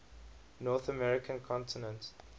north american continent